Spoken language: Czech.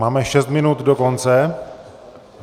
Máme šest minut do konce.